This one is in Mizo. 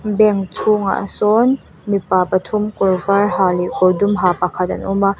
bank chhungah sawn mipa pathum kawr var ha leh kawr dum ha pakhat an awm a.